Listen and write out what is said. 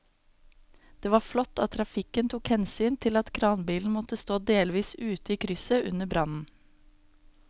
Det var flott at trafikken tok hensyn til at kranbilen måtte stå delvis ute i krysset under brannen.